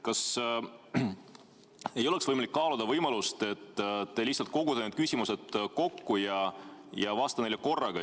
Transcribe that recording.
Kas oleks võimalik kaaluda võimalust, et te lihtsalt kogute need küsimused kokku ja vastate neile korraga.